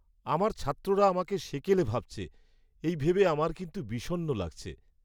আমার ছাত্ররা আমাকে সেকেলে ভাবছে, এই ভেবে আমার কিন্তু বিষণ্ণ লাগছে।